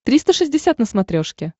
триста шестьдесят на смотрешке